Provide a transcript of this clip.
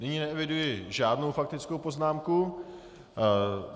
Nyní neeviduji žádnou faktickou poznámku.